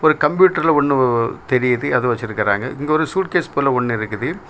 ஒரு கம்ப்யூட்டர்ல ஒன்னு தெரியுது அது வெச்சிருக்காங்க இங்க சுய்ட்டிகேஸ் போல ஒன்னு இருக்குது.